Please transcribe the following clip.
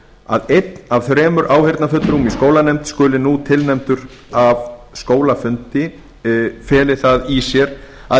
að einn af þremur áheyrnarfulltrúum í skólanefnd skuli nú tilnefndur af skólafundi feli það í sér að